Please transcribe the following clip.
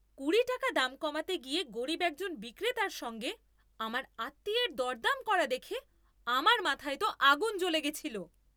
কুড়ি টাকা দাম কমাতে গিয়ে গরীব একজন বিক্রেতার সঙ্গে আমার আত্মীয়ের দরদাম করা দেখে আমার মাথায় তো আগুন জ্বলে গেছিল।